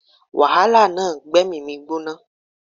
Wàhálà náà gbé èmí mi gbóná